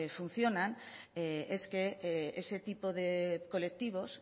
funcionan es que ese tipo de colectivos